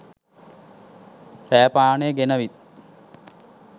රෑ පානේ ගෙනවිත්